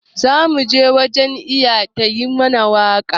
Za mu je wajen Iya ta yi mana waka.